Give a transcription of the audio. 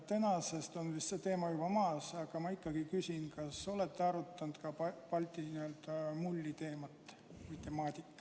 Tänaseks on see teema vist juba maas, aga ma ikkagi küsin: kas te olete arutanud ka Balti mulli teemat?